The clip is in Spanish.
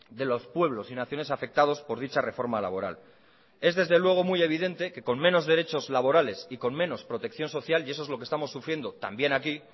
de los pueblos y naciones afectados por dicha reforma laboral es desde luego muy evidente que con menos derechos laborales y con menos protección social y eso es lo que estamos sufriendo también aquí